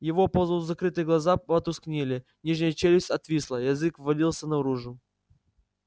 его полузакрытые глаза потускнели нижняя челюсть отвисла язык валился наружу